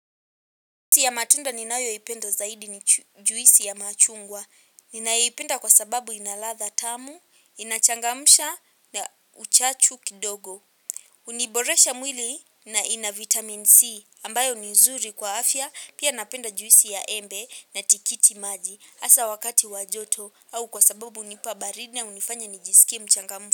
Juisi ya matunda ninayoipenda zaidi ni juisi ya machungwa. Ninaipenda kwa sababu ina ladha tamu, inachangamsha na uchachu kidogo. Niboresha mwili na ina vitamin C ambayo ni nzuri kwa afya. Pia napenda juwisi ya embe na tikiti maji. Hasa wakati wa joto au kwa sababu hunipa baridi na hunifanya nijiskie mchangamfu.